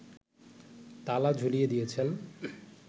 তালা ঝুলিয়ে দিয়েছেন